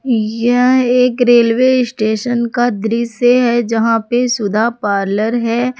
यह एक railway station का दृश्य है जहां पे सुधा पार्लर है।